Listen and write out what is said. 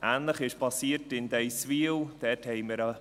Ähnliches ist in Deisswil geschehen.